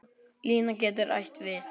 Lína getur átt við